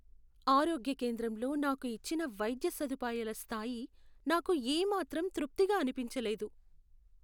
ఆరోగ్య కేంద్రంలో నాకు ఇచ్చిన వైద్య సదుపాయాల స్థాయి నాకు ఏమాత్రం తృప్తిగా అనిపించలేదు.